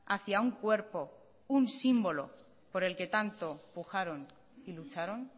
hacia un cuerpo un símbolo por el que tanto pujaron y lucharon